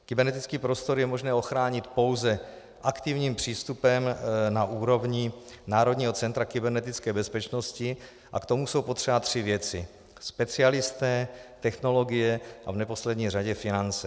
Kybernetický prostor je možné ochránit pouze aktivním přístupem na úrovni Národního centra kybernetické bezpečnosti a k tomu jsou potřeba tři věci - specialisté, technologie a v neposlední řadě finance.